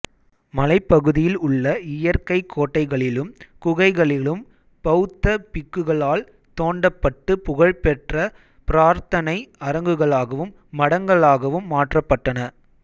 மலைப்பகுதியில் உள்ள இயற்கைக் கோட்டைகளிலும் குகைகளிலும் பௌத்த பிக்குகளால் தோண்டப்பட்டு புகழ்பெற்ற பிரார்த்தனை அரங்குகளாகவும் மடங்களாகவும் மாற்றப்பட்டன